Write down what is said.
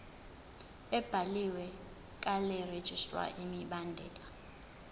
ebhaliwe karegistrar imibandela